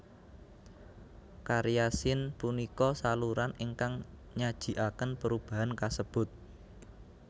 Karya Sin punika saluran ingkang nyajiaken perubahan kasebut